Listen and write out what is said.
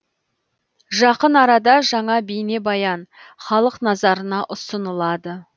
жақын арада жаңа бейнебаян халық назарына ұсынылады